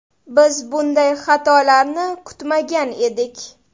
Biz bunday xatolarni kutmagan edik.